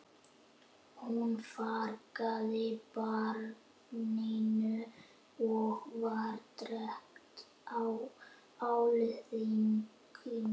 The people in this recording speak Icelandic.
Hún fargaði barninu og var drekkt á alþingi.